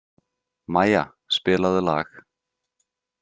Maja, spilaðu lag.